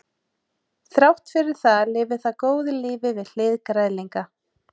þrátt fyrir það lifir það góðu lífi við hlið græðlinga